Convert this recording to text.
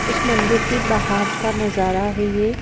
उस मंदिर के बाहर का नजारा है ये--